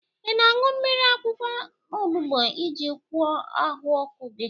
Ị na-aṅụ mmiri akwụkwọ onubu iji gwọọ ahụ ọkụ gị?